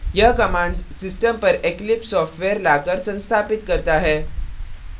यह command system पर eclipse software लाकर संस्थापित करता है